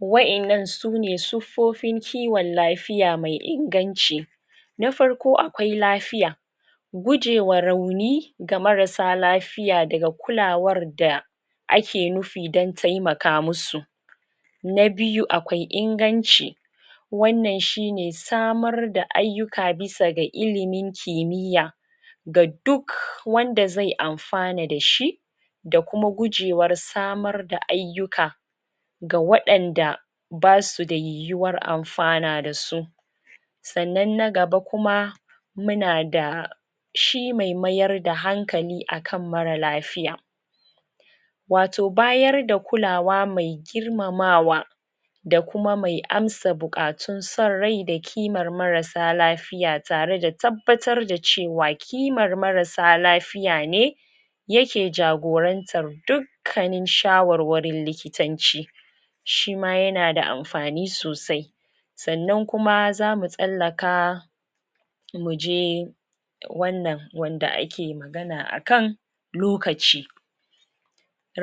wayan nan sune siffofin kiwon lafiya mai inganci na farko akwai lafiya gujema rauni ga masarsa lafiya daga kulawan da ake nufi don taimakamusu na biyu akwai inganci wan nan shine samar da aiyuka, bisa ga ilimin kimiya ga duk wanda zai anfana da shi da kuma gujewar samar da aiyuka ga wayanda basu da yihuwar anfana da su san nan na gaba kuma muna da shi mai mayar da hankali akan marar lafiya wato bayan da kulawa mai girmamawa da kuma mai ansa bukatun son rai, da kiman marassa lafiya tare da tabbatar da cewa kiman marassa lafiyane yake jagorantan dukkanin shawarwarin likitanci shima yana da anfani sosai san nan kuma zamu tsallaka muje wan nan wanda ake magana akai lokaci